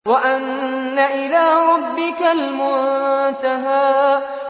وَأَنَّ إِلَىٰ رَبِّكَ الْمُنتَهَىٰ